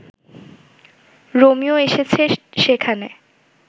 Romeo এসেছে সেখানে